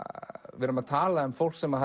við erum að tala um fólk sem